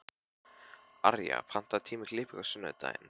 Arja, pantaðu tíma í klippingu á sunnudaginn.